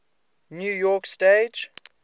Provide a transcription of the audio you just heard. new york stage